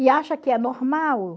E acha que é normal.